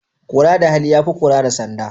Kora da hali ya fi kora da sanda.